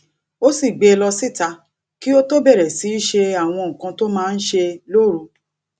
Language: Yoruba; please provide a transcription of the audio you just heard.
ó sì gbé e lọ síta kí ó tó bẹrè sì í ṣe àwọn nǹkan tó máa ń ṣe lóru